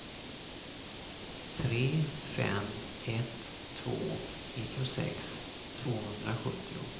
tre fem ett två nittiosex tvåhundrasjuttio